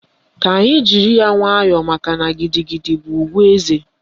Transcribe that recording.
Ka anyị jiri ya nwayọọ makana gidigidi bụ ùgwù eze